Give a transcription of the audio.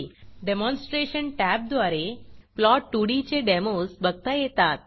demonstration टॅबद्वारे plot2डी चे डेमोज बघता येतात